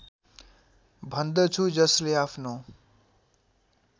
भन्दछु जसले आफ्नो